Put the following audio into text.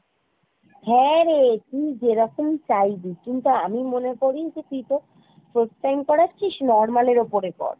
হ্যাঁ রে , তুই যেরকম চাইবি কিন্তু আমি মনে করি যে তুই তোর first time করাচ্ছিস normal এর ওপরে কর ।